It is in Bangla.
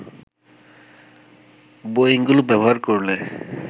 বোয়িংগুলো ব্যবহার করলে